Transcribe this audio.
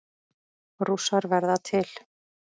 Rússar verða til